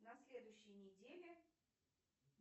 на следующей неделе